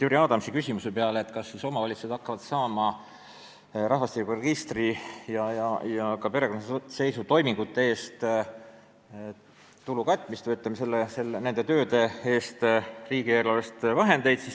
Jüri Adams küsis, kas nende tööde kulusid hakatakse katma, kas omavalitsused hakkavad saama rahvastikuregistri- ja ka perekonnaseisutoimingute eest riigieelarvest vahendeid.